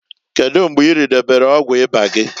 Kedu mgbe iridobelu ọgwụ ịba gị?